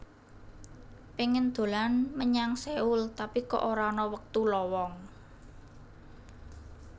Pingin dolan menyang Seoul tapi kok ora ana wektu lowong